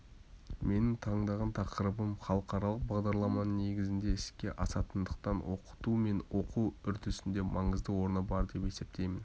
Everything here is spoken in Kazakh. менің таңдаған тақырыбым халықаралық бағдарламаның негізінде іске асатындықтан оқыту мен оқу үрдісінде маңызды орны бар деп есептеймін